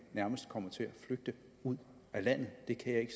nærmest kommer til at flygte ud af landet det kan jeg